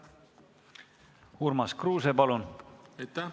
Urmas Kruuse, palun!